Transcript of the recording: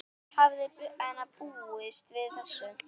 Hver hefði búist við þessu??